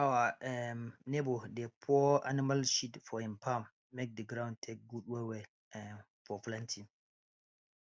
our um neighbour dey pour animal shit for im farm make d ground take good well well um for planting